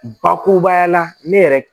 Bakurubaya la ne yɛrɛ